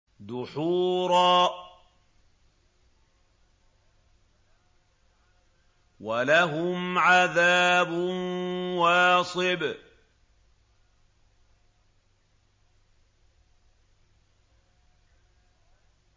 دُحُورًا ۖ وَلَهُمْ عَذَابٌ وَاصِبٌ